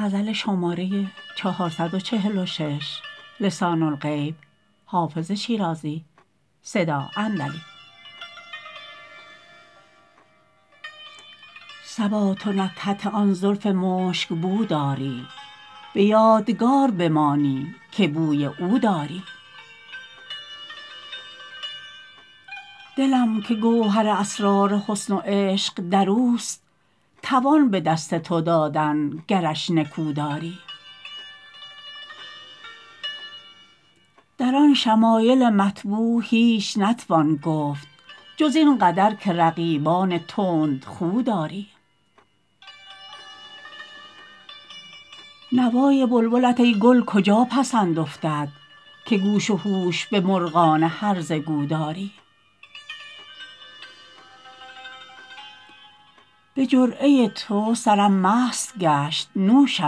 صبا تو نکهت آن زلف مشک بو داری به یادگار بمانی که بوی او داری دلم که گوهر اسرار حسن و عشق در اوست توان به دست تو دادن گرش نکو داری در آن شمایل مطبوع هیچ نتوان گفت جز این قدر که رقیبان تندخو داری نوای بلبلت ای گل کجا پسند افتد که گوش و هوش به مرغان هرزه گو داری به جرعه تو سرم مست گشت نوشت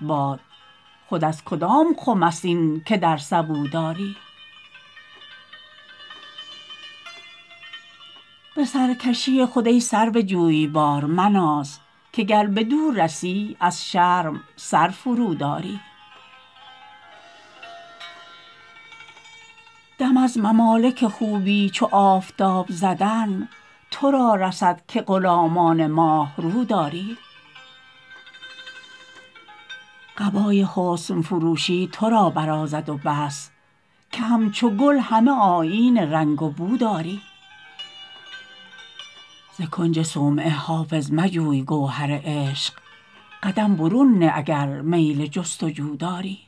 باد خود از کدام خم است این که در سبو داری به سرکشی خود ای سرو جویبار مناز که گر بدو رسی از شرم سر فروداری دم از ممالک خوبی چو آفتاب زدن تو را رسد که غلامان ماه رو داری قبای حسن فروشی تو را برازد و بس که همچو گل همه آیین رنگ و بو داری ز کنج صومعه حافظ مجوی گوهر عشق قدم برون نه اگر میل جست و جو داری